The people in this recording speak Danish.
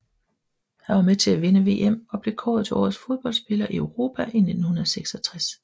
Han var med til at vinde VM og blev kåret til Årets Fodboldspiller i Europa i 1966